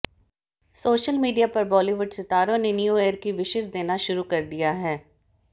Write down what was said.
social media पर बॉलीवुड सितारों ने न्यू ईयर की विशज देना शुरू कर दिया है